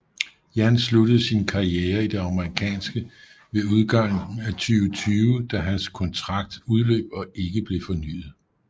Jan sluttede sin karriere i det amerikanske ved udgangen af 2020 da hans kontrakt udløb og ikke blev fornyet